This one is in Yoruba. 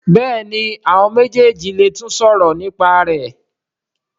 Béèni àwọn méjèjì lè tún sòrò nípa rẹ.